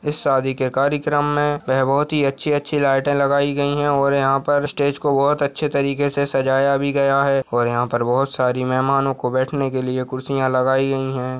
इस शादी के कार्यक्रम मे वह बहुत ही अच्छी-अच्छी लाइटे लगाई गई है और यहाँ पर स्टेज को बहुत अच्छे तरीके से सजाया भी गया है और यहाँ पर बहुत सारी मेहमानों को बैठने के लिए कुर्सियाँ लगाई गई है।